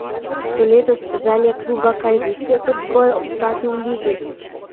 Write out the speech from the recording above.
So letos želje kluba kaj višje kot zgolj obstati v ligi?